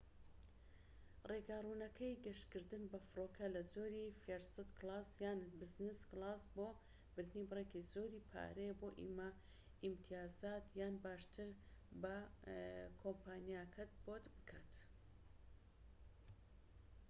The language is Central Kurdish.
ڕێگا ڕوونەکەی گەشتکردن بە فڕۆکە لە جۆری فێرست کلاس یان بزنس کلاس بۆ بردنی بڕێکی زۆری پارەیە بۆ ئیمتیازات یان، باشتر، با کۆمپانیاکەت بۆت بکات